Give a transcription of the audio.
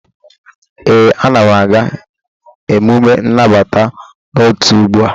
ee, Ana m aga emume nnabata n'otu ugbu a